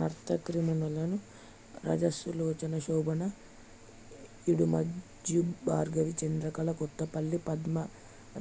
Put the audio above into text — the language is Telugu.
నర్తకీమణులు రాజసులోచనశోభానాయుడుమంజుభార్గవి చంద్రకళ కొత్తపల్లి పద్మ